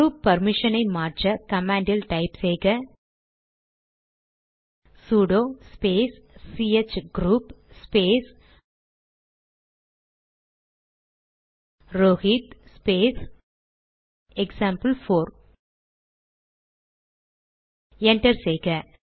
group permission ஐ மாற்ற command type செய்க sudo space CH group space Rohit space எக்சாம்பிள்4 என்டர் செய்க